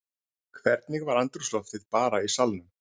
Hvernig var andrúmsloftið bara í salnum?